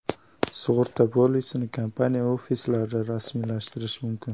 Sug‘urta polisini kompaniya ofislarida rasmiylashtirish mumkin.